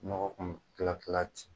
Nɔgɔ kun mi kila kila ten